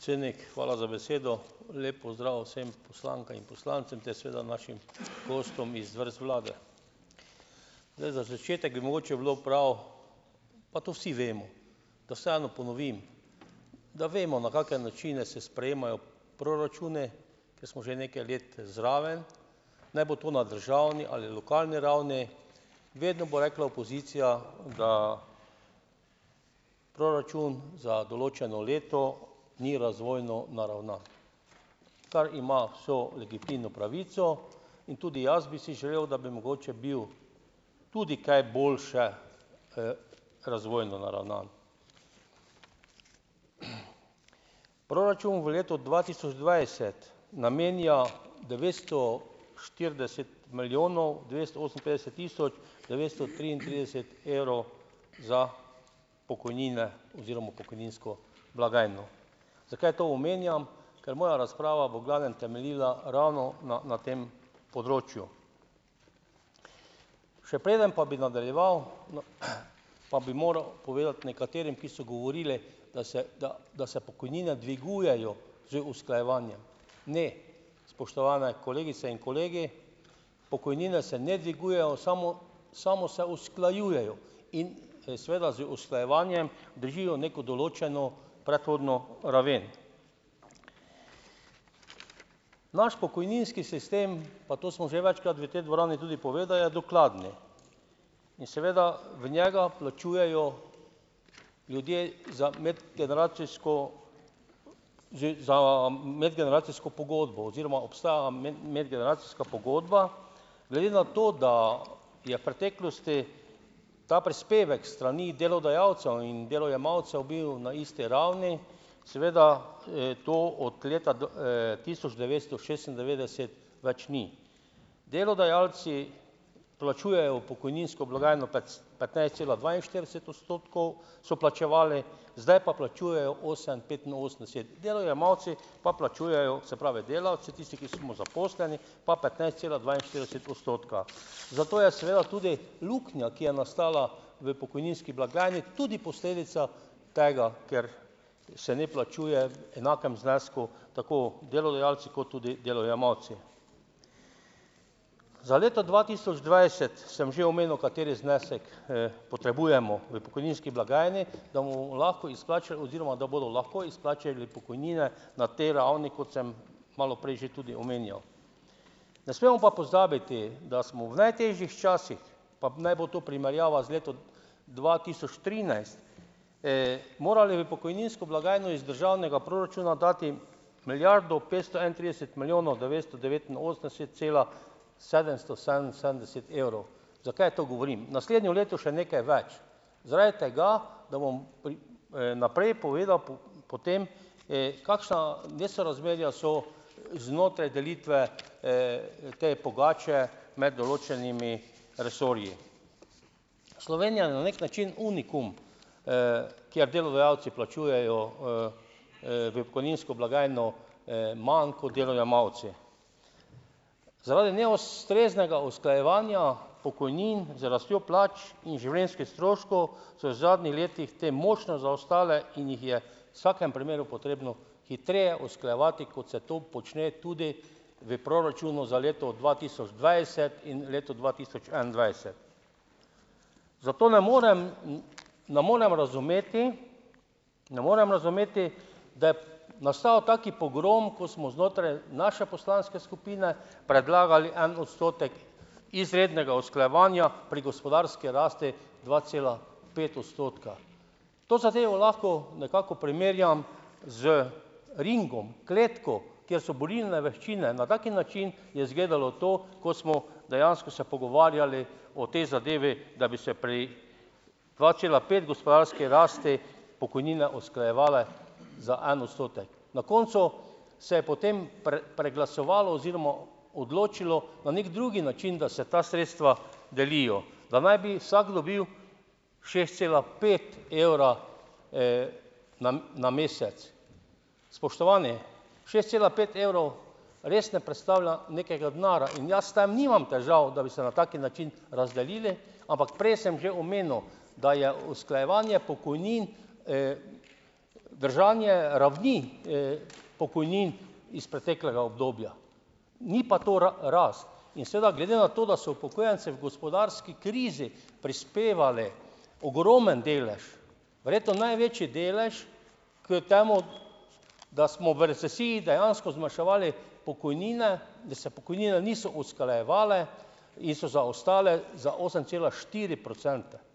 Predsednik, hvala za besedo. Lep pozdrav vsem poslankam in poslancem, ter seveda našim gostom iz vrst vlade. Zdaj, za začetek bi mogoče bilo prav, pa to vsi vemo, da vseeno ponovim, da vemo, na kake načine se sprejemajo proračuni, ker smo že nekaj let zraven, naj bo to na državni ali lokalni ravni. Vedno bo rekla opozicija, da proračun za določeno leto ni razvojno naravnan, kar ima vso legitimno pravico, in tudi jaz bi si želel, da bi mogoče bil tudi kaj boljše, razvojno naravnan. Proračun v letu dva tisoč dvajset namenja devetsto štirideset milijonov dvesto oseminpetdeset tisoč devetsto triintrideset evrov za pokojnine oziroma pokojninsko blagajno. Zakaj to omenjam? Ker moja razprava bo v glavnem temeljila ravno na na tem področju. Še preden pa bi nadaljeval, no, pa bi moral povedati nekaterim, ki so govorili, da se da, da se pokojnine dvigujejo z usklajevanjem - ne, spoštovane kolegice in kolegi. Pokojnine se ne dvigujejo, samo samo se usklajujejo. In seveda z usklajevanjem držijo neko določeno predhodno raven. Naš pokojninski sistem, pa to smo že večkrat v tej dvorani tudi povedal, je dokladni. In seveda v njega plačujejo ljudje za medgeneracijsko z, za medgeneracijsko pogodbo oziroma obstaja medgeneracijska pogodba. Glede na to, da je v preteklosti ta prispevek s strani delodajalcev in delojemalcev bil na isti ravni, seveda, to od leta tisoč devetsto šestindevetdeset več ni. Delodajalci plačujejo v pokojninsko blagajno petnajst cela dvainštirideset odstotkov, so plačevali, zdaj pa plačujejo osem petinosemdeset. Delojemalci pa plačujejo, se pravi, delavci, tisti, ki smo zaposleni, pa petnajst cela dvainštirideset odstotka. Zato je seveda tudi luknja, ki je nastala v pokojninski blagajni, tudi posledica tega, ker se ne plačuje v enakem znesku tako delodajalci kot tudi delojemalci. Za leto dva tisoč dvajset sem že omenil, kateri znesek, potrebujemo v pokojninski blagajni, da bomo lahko oziroma da bodo lahko izplačali pokojnine na tej ravni, kot sem malo prej že tudi omenjal. Ne smemo pa pozabiti, da smo v najtežjih časih, pa naj bo to primerjava z letom dva tisoč trinajst, morali v pokojninsko blagajno iz državnega proračuna dati milijardo petsto enaintrideset milijonov devetsto devetinosemdeset cela sedemsto sedeminsedemdeset evrov. Zakaj to govorim? Naslednje leto še nekaj več. Zaradi tega, da bom naprej povedal potem, kakšna nesorazmerja so znotraj delitve, te pogače med določenimi resorji. Slovenija je na neki način unikum, kjer delodajalci plačujejo, v pokojninsko blagajno manj kot delojemalci. Zaradi neustreznega usklajevanja pokojnin z rastjo plač in življenjskih stroškov so v zadnjih letih te močno zaostale in jih je v vsakem primeru potrebno hitreje usklajevati, kot se to počne tudi v proračunu za leto dva tisoč dvajset in leto dva tisoč enaindvajset. Zato ne morem ne morem razumeti, ne morem razumeti da je nastal tak pogrom, ko smo znotraj naše poslanske skupine predlagali en odstotek izrednega usklajevanja pri gospodarski rasti dva cela pet odstotka. To zadevo lahko nekako primerjam z ringom, kletko, kjer so borilne veščine, na tak način je izgledalo to, ko smo dejansko se pogovarjali o tej zadevi, da bi se pri dva cela pet gospodarski rasti pokojnine usklajevale za en odstotek. Na koncu se je potem preglasovalo oziroma odločilo na neki drugi način, da se ta sredstva delijo, da naj bi vsak dobil šest cela pet evra, na na mesec. Spoštovani šest cela pet evrov res ne predstavlja nekega denarja in jaz s tem nimam težav, da bi se na tak način razdelili, ampak prej sem že omenil, da je usklajevanje pokojnin, držanje ravni, pokojnin iz preteklega obdobja, ni pa to rast in seveda, glede na to, da so upokojencem v gospodarski krizi prispevali ogromno delež, verjetno največji delež k temu, da smo v recesiji dejansko zmanjševali pokojnine, da se pokojnine niso usklajevale in so zaostale za osem cela štiri procente. Če bo,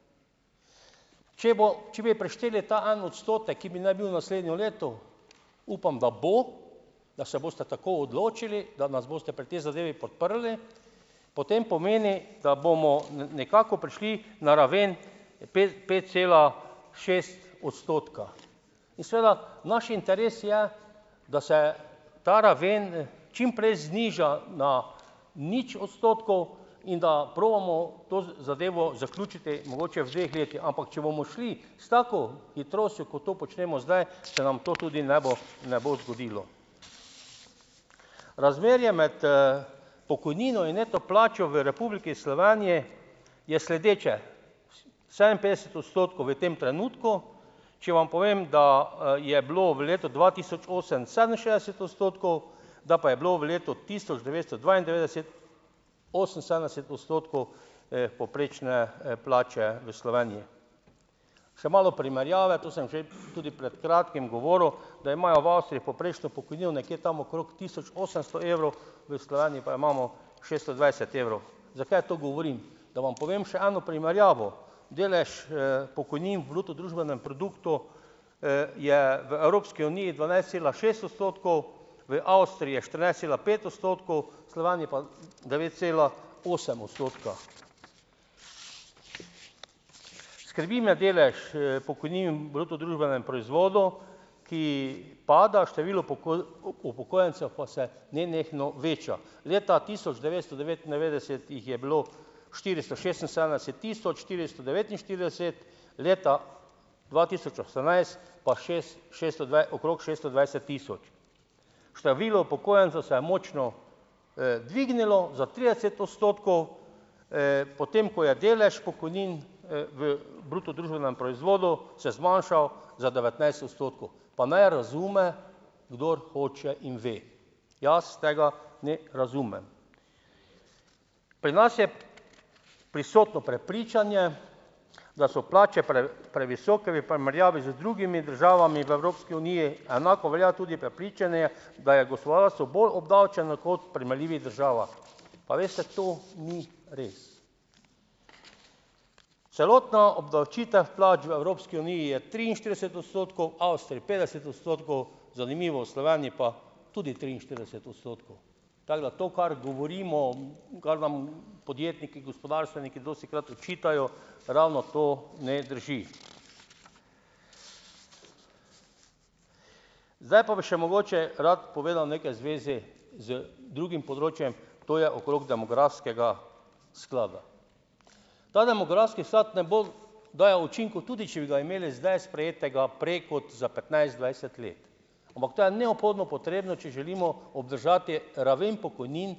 če bi prišteli ta en odstotek, ki bi naj bil naslednje leto, upam, da bo, da se boste tako odločili, da nas boste pri tej zadevi podprli, potem pomeni, da bomo nekako prišli na raven pet, pet cela šest odstotka in seveda, naš interes je, da se ta raven čim prej zniža na nič odstotkov in da probamo to zadevo zaključiti, mogoče v dveh letih. Ampak če bomo šli s tako hitrostjo, kot to počnemo zdaj, se nam to tudi ne bo ne bo zgodilo. Razmerje med, pokojnino in neto plačo v Republiki Sloveniji je sledeče: sedeminpetdeset odstotkov v tem trenutku - če vam povem, da, je bilo v letu dva tisoč osem sedeminšestdeset odstotkov, da pa je bilo v letu tisoč devetsto dvaindevetdeset oseminsedemdeset odstotkov, povprečne, plače v Sloveniji. Še malo primerjave, to sem že, tudi pred kratkim govoril, da imajo v Avstriji povprečno pokojnino nekje tam okrog tisoč osemsto evrov, v Sloveniji pa jo imamo šeststo dvajset evrov. Zakaj to govorim? Da vam povem še eno primerjavo - delež, pokojnin v bruto družbenem produktu, je v Evropski uniji dvanajst cela šest odstotkov, v Avstriji je štirinajst cela pet odstotkov, v Sloveniji pa devet cela osem odstotka. Skrbi me delež, pokojnin v bruto družbenem proizvodu, ki pada, število upokojencev pa se nenehno veča. Leta tisoč devetsto devetindevetdeset jih je bilo štiristo šestinsedemdeset tisoč štiristo devetinštirideset, leta dva tisoč osemnajst pa šesto okrog šesto dvajset tisoč. Število upokojencev se je močno, dvignilo, za trideset odstotkov, potem ko je delež pokojnin, v bruto družbenem proizvodu se zmanjšal za devetnajst odstotkov. Pa naj razume, kdor hoče in ve. Jaz tega ne razumem. Pri nas je prisotno prepričanje, da so plače previsoke, v primerjavi z drugimi državami v Evropski uniji, enako velja tudi prepričanje, da je gospodarstvo bolj obdavčeno kot v primerljivih državah. Pa veste, to ni res. Celotna obdavčitev plač v Evropski uniji je triinštirideset odstotkov, v Avstriji petdeset odstotkov, zanimivo, v Sloveniji pa tudi triinštirideset odstotkov. Tako da to, kar govorimo, kar vam podjetniki, gospodarstveniki dostikrat očitajo, ravno to ne drži. Zdaj pa bi še mogoče rad povedal nekaj v zvezi z drugim področjem, to je okrog demografskega sklada. Ta demografski sklad ne bo dajal učinkov, tudi če bi ga imeli zdaj sprejetega prej kot za petnajst, dvajset let, ampak to je neobhodno potrebno, če želimo obdržati raven pokojnin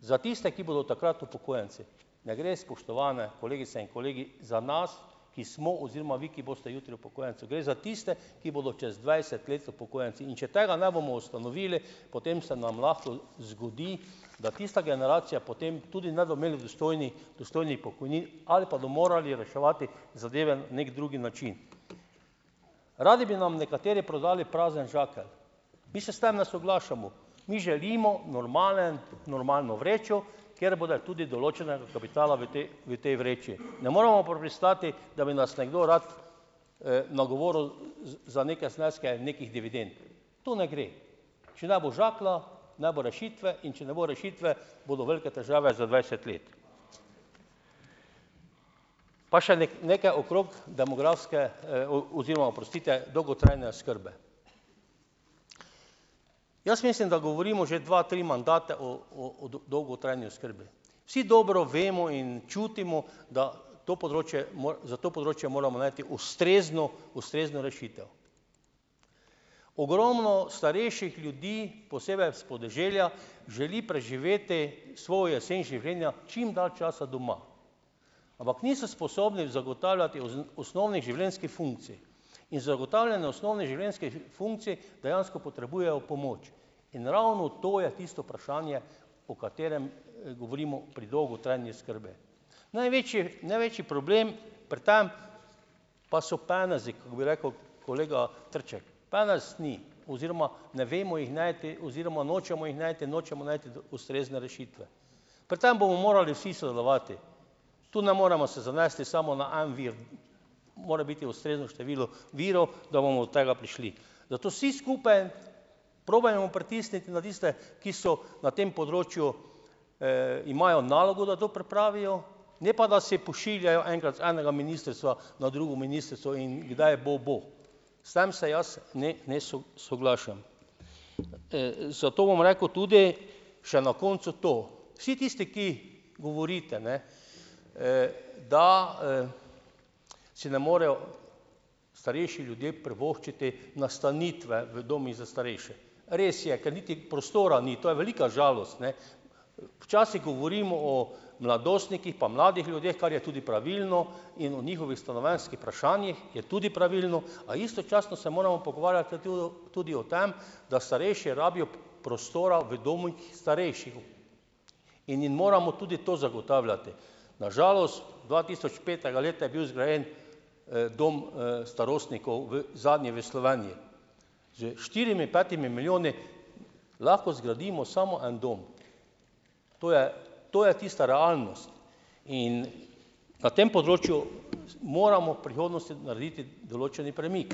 za tiste, ki bodo takrat upokojenci. Ne gre, spoštovane kolegice in kolegi, za nas, ki smo oziroma vi, ki boste jutri upokojenci. Gre za tiste, ki bodo čez dvajset let upokojenci. In če tega ne bomo ustanovili, potem se nam lahko zgodi, da tista generacija potem tudi ne bodo imeli dostojnih pokojnin ali pa do morali reševati zadeve na neki drugi način. Radi bi nam nekateri prodali prazen žakelj. Mi se s tem ne soglašamo. Mi želimo normalen, normalno vrečo, kjer bo tudi določenega kapitala v tej, v tej vreči. Ne moremo pa pristati, da bi nas nekdo rad, nagovoril za neke zneske nekih dividend, to ne gre. Če ne bo žaklja, ne bo rešitve, in če ne bo rešitve, bodo velike težave za dvajset let. Pa še nekaj okrog demografske, oziroma, oprostite, dolgotrajne oskrbe. Jaz mislim, da govorimo že dva, tri mandate o, o, o dolgotrajni oskrbi. Vsi dobro vemo in čutimo, da to področje za to področje moramo najti ustrezno ustrezno rešitev. Ogromno starejših ljudi, posebej s podeželja, želi preživeti svojo jesen življenja čim dlje časa doma, ampak niso sposobni zagotavljati osnovnih življenjskih funkcij. In zagotavljanje osnovnih življenjskih funkcij dejansko potrebujejo pomoč. In ravno to je tisto vprašanje, o katerem govorimo pri dolgotrajni oskrbi. Največji, največji problem pri tem pa so penezi, kak bi rekel kolega Trček, penez ni oziroma ne vemo jih najti oziroma nočemo jih najti, nočemo najti ustrezne rešitve. Pri tem bomo morali vsi sodelovati, tu ne moremo se zanesti samo na en vir, more biti ustrezno število virov, da bomo do tega prišli. Zato vsi skupaj probajmo pritisniti na tiste, ki so na tem področju, imajo nalogo, da to pripravijo, ne pa da si pošiljajo enkrat z enega ministrstva na drugo ministrstvo in kdaj bo, bo. S tem se jaz ne ne soglašam. Zato bom rekel tudi še na koncu to. Vsi tisti, ki govorite, ne, da, si ne morejo starejši ljudje privoščiti nastanitve v domovih za starejše. Res je, ker niti prostora ni, to je velika žalost, ne. Včasih govorimo o mladostnikih, pa mladih ljudeh, kar je tudi pravilno, in o njihovih stanovanjskih vprašanjih je tudi pravilno, a istočasno se moramo pogovarjati tudi o tem, da starejši rabijo prostora v domovih starejših in jim moramo tudi to zagotavljati. Na žalost dvatisočpetega leta je bil zgrajen, dom, starostnikov v zadnji v Sloveniji. S štirimi, petimi milijoni lahko zgradimo samo en dom, to je to je tista realnost. In na tem področju moramo v prihodnosti narediti določen premik.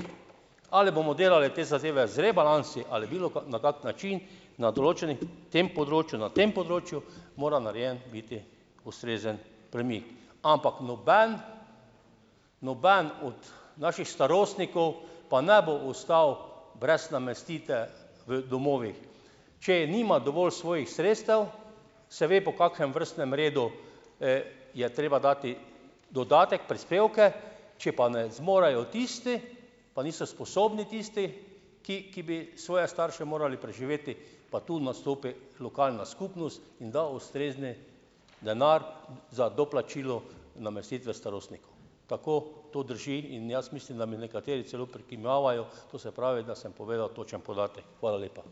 Ali bomo delali te zadeve z rebalansi ali bilo na kak način, na določeni tem področju, na tem področju mora narejen biti ustrezen premik, ampak noben, noben od naših starostnikov pa ne bo ostal brez namestite v domovih. Če nima dovolj svojih sredstev, se ve, po kakšnem vrstnem redu, je treba dati dodatek, prispevke. Če pa ne zmorejo tisti, pa niso sposobni tisti, ki, ki bi svoje starše morali preživeti, pa tu nastopi lokalna skupnost in da ustrezni denar za doplačilo namestitve starostnikov. Tako to drži in jaz mislim, da mi nekateri celo prikimavajo, to se pravi, da sem povedal točen podatek. Hvala lepa.